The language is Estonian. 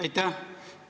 Aitäh!